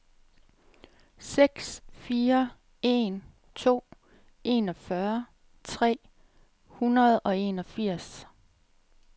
seks fire en to enogfyrre tre hundrede og enogfirs